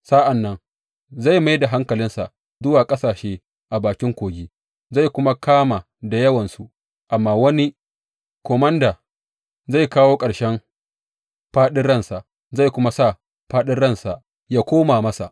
Sa’an nan zai mai da hankalinsa zuwa ƙasashe a bakin kogi, zai kuma kama da yawansu, amma wani komanda zai kawo ƙarshen faɗin ransa, zai kuma sa faɗin ransa yă koma masa.